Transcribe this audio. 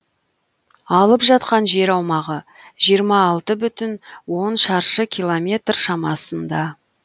алып жатқан жер аумағы жиырма алты бүтін он шаршы километр шамасында